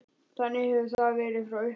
Þannig hefur það verið frá upphafi.